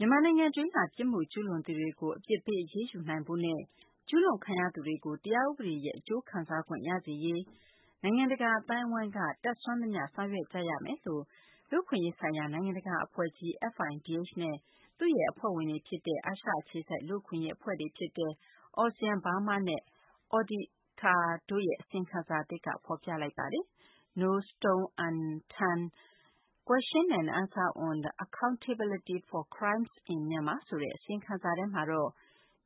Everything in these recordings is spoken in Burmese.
မြန်မာနိုင်ငံ အတွင်းက ပြစ်မှုကျူးလွန်သူတွေကို အပြစ်ပေး အရေးယူနိုင်ဖို့နဲ့ ကျူးလွန်ခံရသူတွေကို တရားဥပဒေရဲ့ အကျိုးခံစားခွင့်ရစေရေး နိုင်ငံတကာ အသိုင်းအဝိုင်းက တတ်နိုင်သမျှ ဆောင်ရွက်ကြရမယ်လို့ လူ့အခွင့်အရေးဆိုင်ရာ နိုင်ငံတကာ အဖွဲ့ကြီး FIDH နဲ့ သူ့ရဲ့ အဖွဲ့ဝင်တွေ ဖြစ်တဲ့ အာရှအခြေစိုက် လူ့အခွင့်အရေး အဖွဲ့ ALTSEAN-Burma နဲ့ Odhikar တို့ရဲ့ အစီရင်ခံစာသစ်က ဖော်ပြလိုက်ပါတယ်။ “ No stone unturned- Q&A on accountability for crimes in Myanmar ” ဆိုတဲ့ အစီရင်ခံစာထဲမှာတော့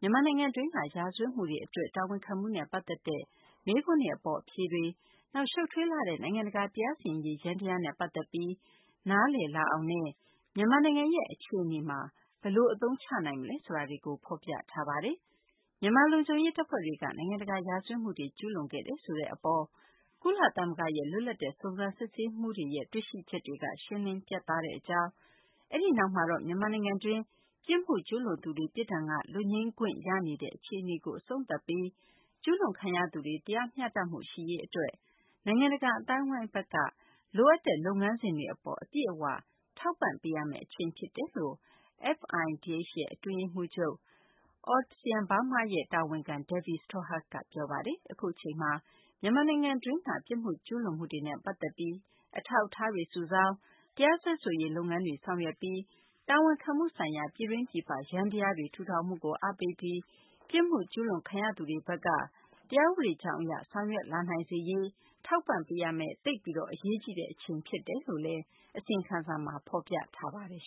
မြန်မာနိုင်ငံတွင်းက ရာဇဝတ်မှုတွေအတွက် တာဝန်ခံမှုနဲ့ ပတ်သက်တဲ့ မေးခွန်းတွေ အပေါ် အဖြေတွေ၊ နောက် ရှုပ်ထွေးလှတဲ့ နိုင်ငံတကာ တရားစီရင်ရေး ယန္တရားနဲ့ ပတ်သက်ပြီး နားလည်လာအောင်နဲ့ မြန်မာနိုင်ငံရဲ့ အခြေအနေမှာ ဘယ်လို အသုံးချနိုင်မလဲ ဆိုတာတွေကို ဖော်ပြထားပါတယ်။ မြန်မာ လုံခြုံရေး တပ်ဖွဲ့တွေက နိုင်ငံတကာ ရာဇဝတ်မှုတွေ ကျူးလွန်ခဲ့တယ်ဆိုတဲ့ အပေါ် ကုလသမဂ္ဂရဲ့ လွတ်လပ်တဲ့ စုံစမ်း စစ်ဆေးရေးမှူးတွေရဲ့ တွေ့ရှိချက်တွေက ရှင်းလင်း ပြတ်သားကြောင်း၊ အဲဒီနောက်မှာတော့ မြန်မာနိုင်ငံတွင်း ပြစ်မှုကျူးလွန်သူတွေ ပြစ်ဒဏ်က လွတ်ငြိမ်းချမ်းသာခွင့် ရနေတဲ့ အခြေအနေကို အဆုံးသတ်ပြီး ကျူးလွန်ခံရသူတွေ တရားမျှတမှု ရှိရေး အတွက် နိုင်ငံတကာ အသိုင်းအဝိုင်းဘက်က လိုအပ်တဲ့ လုပ်ငန်းစဉ်တွေ အပေါ် အပြည့်အ၀ ထောက်ပံ့ပေးရမယ့် အချိန် ဖြစ်တယ်လို့ FIDH ရဲ့ အတွင်းရေးမှူးချုပ်၊ ALTSEAN-BURMA ရဲ့ တာဝန်ခံ Debbie Stothard က ပြောပါတယ်။ အခုအချိန်မှာ မြန်မာနိုင်ငံတွင်းက ပြစ်မှုကျူးလွန်မှုတွေနဲ့ ပတ်သက်ပြီး အထောက်အထားတွေ စုဆောင်း၊ တရားစွဲဆိုရေး လုပ်ငန်းတွေ ဆောင်ရွက်ပြီး တာဝန်ခံမှုဆိုင်ရာ ပြည်တွင်း ၊ ပြည်ပ ယန္တရားတွေ ထူထောင်မှုကို အားပေးပြီး ပြစ်မှုကျူးလွန်ခံရသူတွေဘက်က တရားဥပဒေကြောင်းအရ ဆောင်ရွက်လာနိုင်စေရေး ထောက်ပံ့ပေးရမယ့် သိပ်ပြီး အရေးကြီးတဲ့ အချိန် ဖြစ်တယ်လို့လည်း အစီရင်ခံစာမှာ ဖော်ပြထားပါတယ်